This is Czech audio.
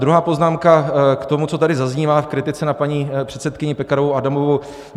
Druhá poznámka k tomu, co tady zaznívá v kritice na paní předsedkyni Pekarovou Adamovou.